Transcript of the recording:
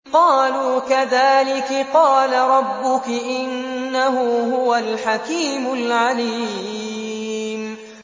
قَالُوا كَذَٰلِكِ قَالَ رَبُّكِ ۖ إِنَّهُ هُوَ الْحَكِيمُ الْعَلِيمُ